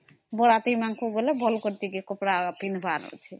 ବରାତିରେ ଭଲ କରି କପଡା ପିନ୍ଧିବାର